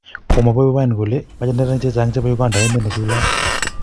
Kamwa Bobi Wine kole mache neranik chechang chebo Uganda emet nechulat